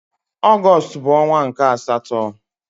Ọgọstụ bụ ọnwa nke asatọ.